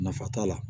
Nafa t'a la